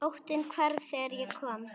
Óttinn hvarf þegar ég kom.